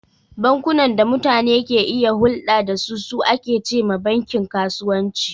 Bankunan da mutane ke iya hurɗa da su, su ake ce ma bankin kasuwanci..